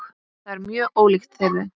Þetta er mjög ólíkt þeirri